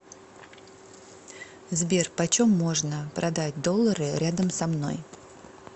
сбер почем можно продать доллары рядом со мной